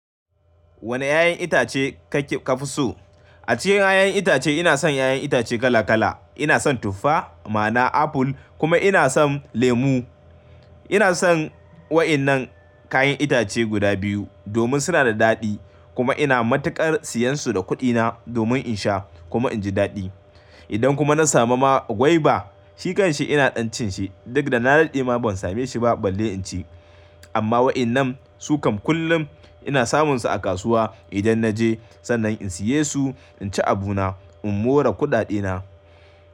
Wane 'ya'yan itace kake kafi so? A cikin 'ya'yan itace ina son 'ya'yan itace kala kala. Ina son tuffa, ma, ana aful kuma ina son lemu. Ina son wa'innan kayan itace guda biyu domin suna da dadi kuma ina matukar siyansu da kudina domin in sha kuma inji dadi. Idan kuma na samu ma gwaiba, shi kanshi ina dan cinshi duk da na dade ma ban sameshi ba balle inci. Amma wa'innan su kam kullum ina samunsu a kasuwa idan naje sannan in siye su inci abuna in more kuda dena.